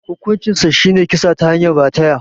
Hukuncinsa shine kisa ta hanyar rataya.